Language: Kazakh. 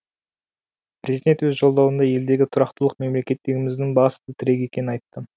президент өз жолдауында елдегі тұрақтылық мемлекеттігіміздің басты тірегі екенін айтты